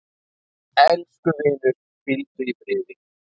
Elsku vinur, hvíldu í friði.